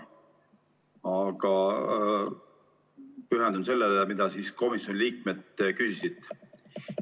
Aga pühendun sellele, mida komisjoni liikmed küsisid.